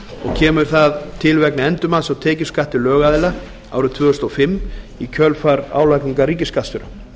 kemur til vegna endurmats á tekjuskatti lögaðila árið tvö þúsund og fimm í kjölfar álagningar ríkisskattstjóra